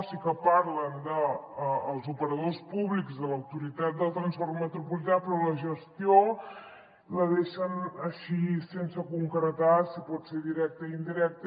sí que parlen dels operadors públics de l’autoritat del transport metropolità però la gestió la deixen així sense concretar si pot ser directa i indirecta